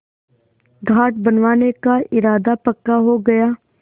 घाट बनवाने का इरादा पक्का हो गया